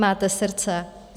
Máte srdce?